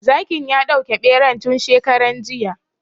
Zakin ya dauke ɓeran tun shekaran jiya